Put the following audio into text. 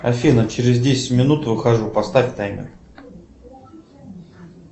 афина через десять минут выхожу поставь таймер